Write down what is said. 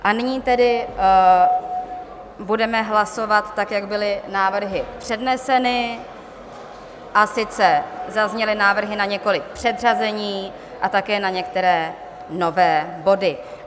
A nyní tedy budeme hlasovat tak, jak byly návrhy předneseny, a sice zazněly návrhy na několik předřazení a také na některé nové body.